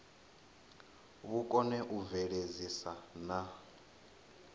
vhu kone u bveledzisa na